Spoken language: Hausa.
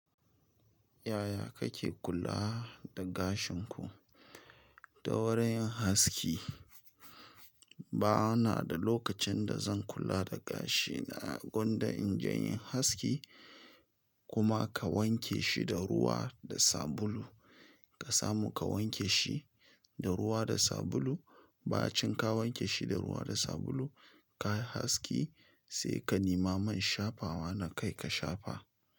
Yaya kake kula da gashin ku? Da wurin haski. Banada lokacin da zan kula da gashina, gwanda inje inyi haski. Kuma ka wankeshi da ruwa da sabulu. Ka samu ka wanke shi da ruwa da sabulu. Ba cin ka wanke shi da ruwa da sabulu, ka yi haski sai ka nima man shafawa na kai ka shafa.